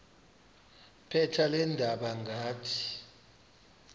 phepha leendaba ngathi